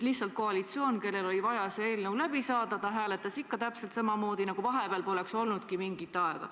Lihtsalt koalitsioon, kellel oli vaja see eelnõu läbi saada, hääletas ikka täpselt samamoodi, nagu vahepeal poleks midagi olnudki.